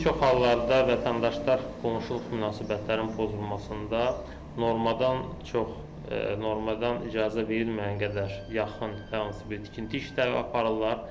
Bir çox hallarda vətəndaşlar qonşuluq münasibətlərin pozulmasında normadan çox, normadan icazə verilməyən qədər yaxın hər hansı bir tikinti işləri aparırlar.